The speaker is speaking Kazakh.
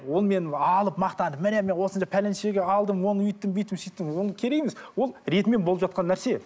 оны мен алып мақтанып міне мен осыны пәленшеге алдым оны өйттім бүйттім сөйттім оны керек емес ол ретімен болып жатқан нәрсе